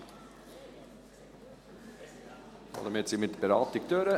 Damit haben wir die Beratung abgeschlossen.